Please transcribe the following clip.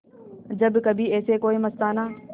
जब कभी ऐसे कोई मस्ताना